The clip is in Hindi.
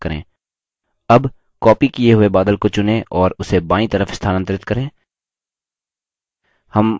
अब copied किये हुए बादल को चुनें और उसे बायीं तरफ स्थानांतरित करें